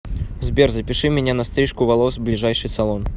сбер запиши меня на стрижку волос в ближайший салон